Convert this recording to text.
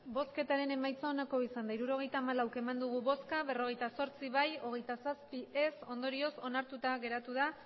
emandako botoak hirurogeita hamalau bai berrogeita zortzi ez hogeita zazpi ondorioz onartuta geratu da